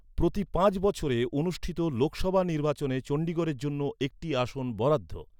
প্রতি পাঁচ বছরে অনুষ্ঠিত লোকসভা নির্বাচনে চণ্ডীগড়ের জন্য একটি আসন বরাদ্দ।